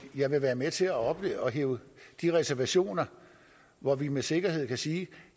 jeg vil være med til at ophæve de reservationer hvor vi med sikkerhed kan sige